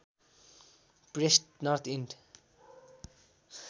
pressed North end